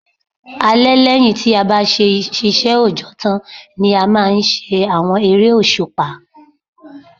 Alẹ́ lẹ́yìn tí a bá ṣiṣẹ́ òjọ́ tán ni a máa ń ṣe àwọn eré òṣùpá